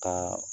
Ka